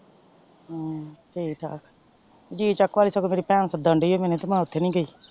ਹਮ ਠੀਕ ਠਾਕ ਜੀਚੱਕ ਵਾਲੀ ਸਗੋਂ ਮੇਰੀ ਪੈਣ ਸੱਦਣ ਡਈ ਏ ਤੇ ਮੈਂ ਓਥੇ ਨੀ ਗਈ।